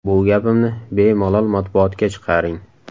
Bu gapimni bemalol matbuotga chiqaring.